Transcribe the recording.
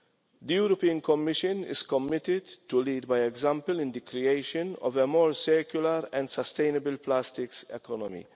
The Commission is committed to leading by example in the creation of a more secular and sustainable plastics economy.